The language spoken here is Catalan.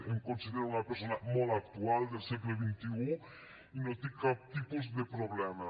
em considero una persona molt actual del segle xxi i no tinc cap tipus de problema